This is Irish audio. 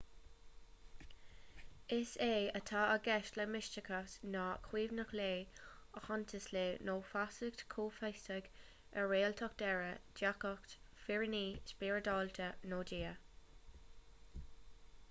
is é atá i gceist le misteachas ná comaoineach le aitheantas le nó feasacht chomhfhiosach ar réaltacht deiridh diagacht fírinne spioradálta nó dia